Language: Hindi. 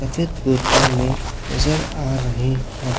सफेद कुर्ते में नजर आ रहे है।